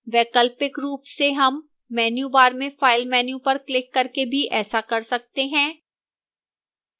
वैकल्पिक रूप से हम menu bar में file menu पर क्लिक करके भी ऐसा कर सकते हैं